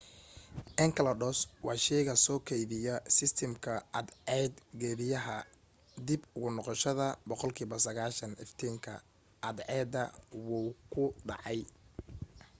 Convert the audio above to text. enceladus waa sheyga soo keydiya sistamka cadceed geediyaha dib ugu noqoshada boqol kiiba 90 iftiinka cadceda wuuw ku dhacay